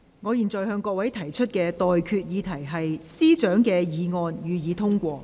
我現在向各位提出的待決議題是：政務司司長動議的議案，予以通過。